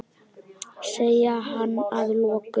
sagði hann að lokum.